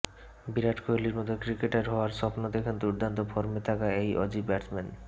বিরাট কোহলির মতো ক্রিকেটার হওয়ার স্বপ্ন দেখেন দুর্দান্ত ফর্মে থাকা এই অজি ব্যাটসম্যান